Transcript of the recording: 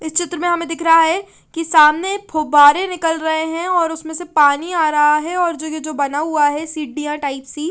इस चित्र में हमे दिख रहा है की सामने फुबरे निकल रहे है उसमे से पानी आ रहा है और जो ये जो बना हुआ है सीडिया टाइप की --